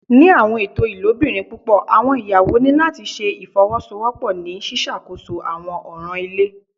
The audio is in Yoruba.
Ni awọn eto ilobirin pupọ awọn iyawo ni lati ṣe ifowosowopo ni ṣiṣakoso awọn ọran ile